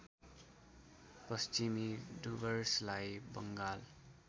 पश्चिमी डुवर्सलाई बङ्गाल